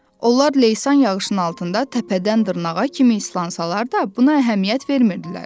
Onlar Leysan yağışının altında təpədən dırnağa kimi islansalar da, buna əhəmiyyət vermirdilər.